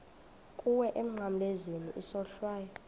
kuwe emnqamlezweni isohlwayo